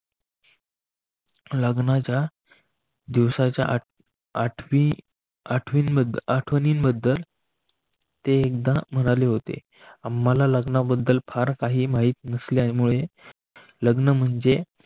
लग्नाच्या दिवसाच्या आठवी आठवी मध्ये आठवणींबद्दल ते एकदा म्हणाले होते आम्हाला लग्नाबद्दल फार काही माहीत नसल्यामुळे लग्न म्हणजे.